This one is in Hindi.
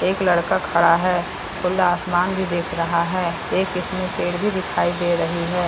एक लड़का खड़ा है खुला आसमान भी देख रहा है एक इसमें पेड़ भी दिखाई दे रही है।